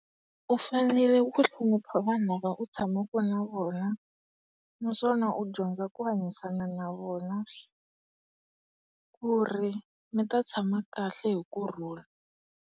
U fanele ku hlonipha vanhu lava u tshamaka na vona, naswona u dyondza ku hanyisana navona ku ri mita tshama kahle hi kurhula.